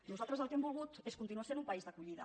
nosaltres el que hem volgut és continuar sent un país d’acollida